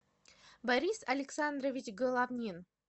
борис александрович головнин